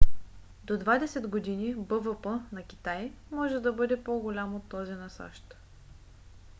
до двадесет години бвп на китай може да бъде по - голям от този на сащ